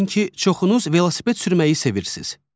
Yəqin ki, çoxunuz velosiped sürməyi sevirsiz.